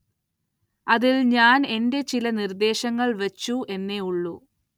അതില്‍ ഞാന്‍ എന്റെ ചില നിര്‍ദ്ദേശങ്ങള്‍ വച്ചു എന്നേ ഉള്ളൂ